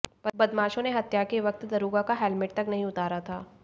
बदमाशों ने हत्या के वक्त दरोगा का हेलमेट तक नहीं उतारा था